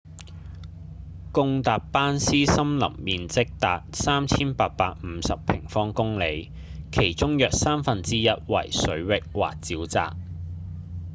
巽達班斯森林面積達 3,850 平方公里其中約三分之一為水域或沼澤